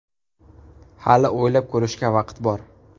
Hali o‘ylab ko‘rishga vaqt bor”.